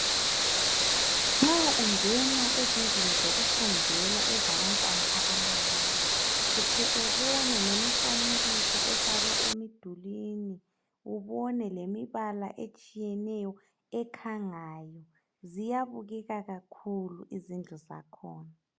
Nxa ungena ezindlini zokufundela ezabantwana abancane uhle ubone ngemifanekiso efakwe emidulini ubone lemibala etshiyeneyo ekhangayo ziyabukeka kakhulu izindlu zakhona